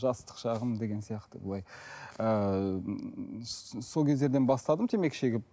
жастық шағым деген сияқты былай ыыы кездерден бастадым темекі шегіп